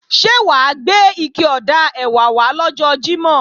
Ṣé wà á gbé ike ọ̀dà ẹ̀wà wá lọ́jọ́ Jímọ̀?